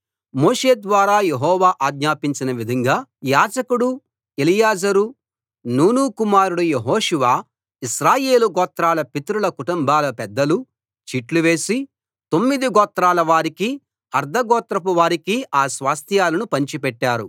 మోషే ద్వారా యెహోవా ఆజ్ఞాపించిన విధంగా యాజకుడు ఎలియాజరూ నూను కుమారుడు యెహోషువ ఇశ్రాయేలు గోత్రాల పితరుల కుటుంబాల పెద్దలూ చీట్లు వేసి తొమ్మిది గోత్రాల వారికి అర్థగోత్రపు వారికి ఆ స్వాస్థ్యాలను పంచిపెట్టారు